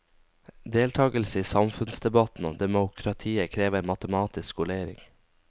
Deltagelse i samfunnsdebatten og demokratiet krever matematisk skolering.